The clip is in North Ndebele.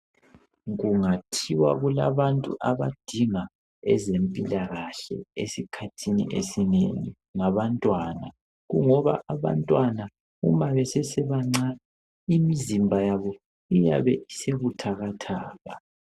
Kungathiwa kulabantu abadinga ezempilakahle esikhathini esinengi ngabantwana kungoba abantwana uma besesebancane imizimba yabo iyabe isebuthathakaka